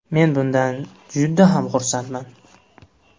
Men bundan juda ham xursandman.